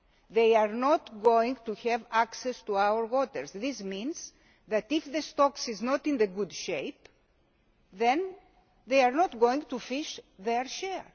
They are not going to have access to our waters. This means that if the stocks are not in good shape, then they are not going to fish their